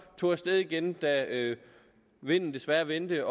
tog af sted igen da vinden desværre vendte